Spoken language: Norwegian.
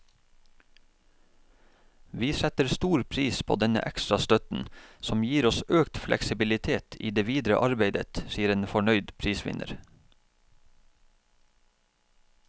Vi setter stor pris på denne ekstra støtten, som gir oss økt fleksibilitet i det videre arbeidet, sier en fornøyd prisvinner.